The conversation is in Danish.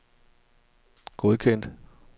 godkendt